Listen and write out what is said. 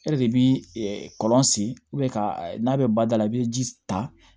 E de bi kɔlɔn sen ka n'a bɛ bada la i be ji ta